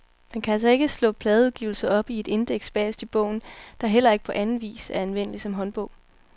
Man kan altså ikke slå pladeudgivelser op i et indeks bagest i bogen, der heller ikke på anden vis er anvendelig som håndbog.